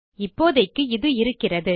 இப்போதைக்கு இது இருக்கிறது